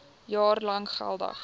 jaar lank geldig